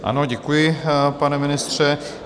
Ano, děkuji, pane ministře.